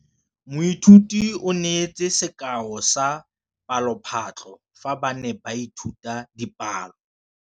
Moithuti o neetse sekaô sa palophatlo fa ba ne ba ithuta dipalo.